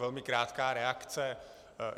Velmi krátká reakce.